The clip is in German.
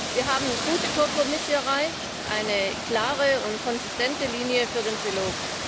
Wir haben gute Kompromisse erreicht, eine klare und konsistente Linie für den Trilog!